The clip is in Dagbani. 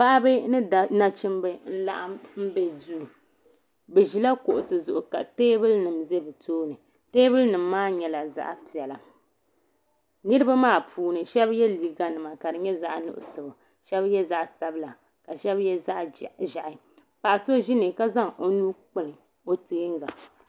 Paɣaba ni nachimba n laɣim be duu bɛ ʒila kuɣusi zuɣu teebuli mima ʒɛ bɛ tooni teebuli nima maa nyɛla zaɣa piɛla niriba maa puuni sheba ye liiga nima ka di nyɛ zaɣa nuɣuso sheba ye zaɣa sabila ka sheba ye zaɣa ʒehi paɣa so ʒi ni ka zaŋ o nuu kpibi o teenga.